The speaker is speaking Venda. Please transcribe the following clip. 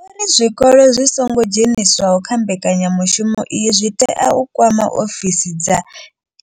Vho ri zwikolo zwi songo dzheniswaho kha mbekanyamushumo iyi zwi tea u kwama ofisi dza